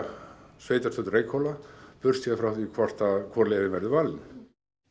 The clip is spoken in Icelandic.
sveitarstjórn Reykhóla frá því hvaða leið verður valin